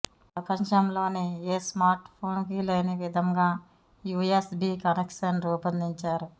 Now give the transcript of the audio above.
ప్రపంచంలోని ఏ smart phone కు లేని విధంగా యుఎస్ బి కనెక్షన్ రూపొందించారు